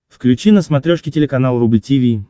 включи на смотрешке телеканал рубль ти ви